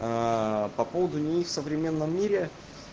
по поводу них в современном мире